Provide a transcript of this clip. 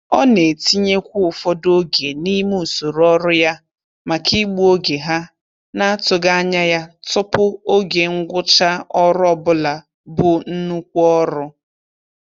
Ọ na-etinyekwu ụfọdụ oge n'ime usoro ọrụ ya maka igbu oge ha n'atụghị anya ya tụpụ oge ngwụcha ọrụ ọbụla bu nnukwu ọrụ.